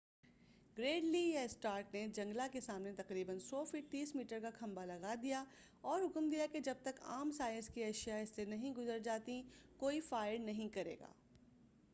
گریڈلی یا اسٹارک نے جنگلا کے سامنے تقریبا 100 فٹ 30 میٹر کا کھمبا لگا دیا اور حکم دیا کہ جب تک عام سائز کی اشیاء اس سے نہیں گزر جاتی کوئی فائر نہیں کریگا-